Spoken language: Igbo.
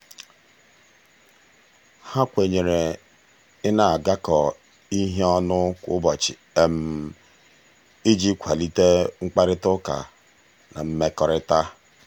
ha kwenyere ị na-agakọ ihe ọnụ kwa ụbọchị iji kwalite mkparịtaụka na mmekọrịta.